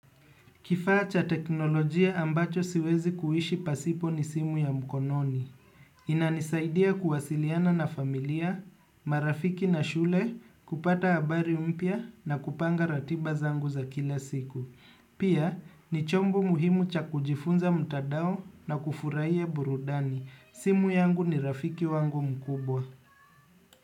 Kifaa cha teknolojia ambacho siwezi kuishi pasipo ni simu ya mkononi. Inanisaidia kuwasiliana na familia, marafiki na shule, kupata abari mpya na kupanga ratiba zangu za kila siku. Pia, ni chomo muhimu cha kujifunza mtadao na kufuraia burudani. Simu yangu ni rafiki wangu mkubwa.